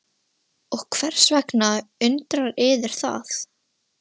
Og hvers vegna undrar yður það?